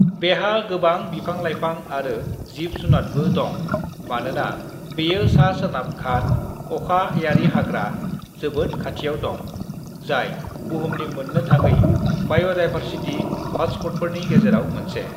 "बेहा गोबां बिफां-लायफां आरो जिब जुनादबो दं मानोना बेयो सा सोनाब घाट अखायारिहाग्रा जोबोद खाथियाव दं, जाय बुहुमनि मोन्नो थाङै बाय'दायभारसिटी हॉटस्पॉटफोरनि गेजेराव मोनसे।"